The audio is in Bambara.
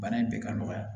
Bana in bɛ ka nɔgɔya